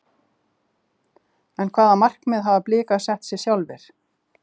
En hvaða markmið hafa Blikar sett sér sjálfir?